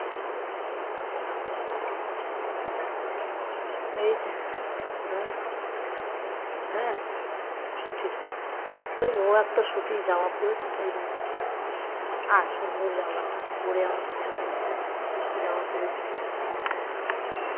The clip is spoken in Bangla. মৌ একটা সুতি জামা পড়েছে তাই দেখাচ্ছে। সুন্দর জামাটা পড়ে আমাকে দেখাচ্ছে।